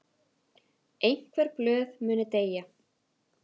Einhver blöð muni deyja